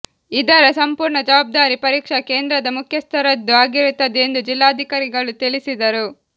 ಇದರ ಸಂಪೂರ್ಣ ಜವಾಬ್ದಾರಿ ಪರೀಕ್ಷಾ ಕೇಂದ್ರದ ಮುಖ್ಯಸ್ಥರದ್ದು ಆಗಿರುತ್ತದೆ ಎಂದು ಜಿಲ್ಲಾಧಿಕಾರಿಗಳು ತಿಳಿಸಿದರು